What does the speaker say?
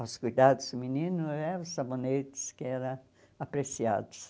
Aos cuidados do menino, eh os sabonetes que eram apreciados.